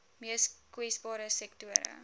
mees kwesbare sektore